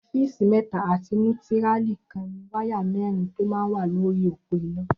Fésí mẹ̀tá àtí nútìrálí kàn ni wàyá mẹrin tó mà n wà lóri ópó iná